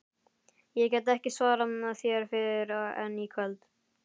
Ég get ekki svarað þér fyrr en í kvöld